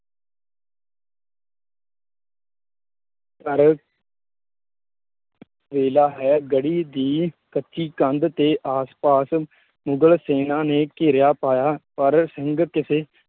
ਵੇਲਾ ਹੈ ਗੜ੍ਹੀ ਦੀ ਕੱਚੀ ਕੰਧ ਤੇ ਆਸ ਪਾਸ ਮੁਗਲ ਸੈਨਾਂ ਨੇ ਘੇਰਿਆ ਪਾਇਆ ਪਰ ਸਿੰਘ ਕਿਸੇ